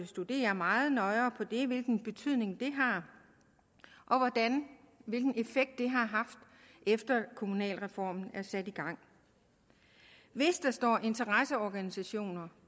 studere meget nøjere hvilken betydning det har og hvilken effekt det har haft efter at kommunalreformen blev sat i gang hvis der står interesseorganisationer